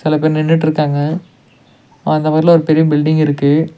நெறைய பேர் நின்னுட்டுருக்காங்க. அந்த ஊர்ல ஒரு பெரிய பில்டிங் இருக்கு.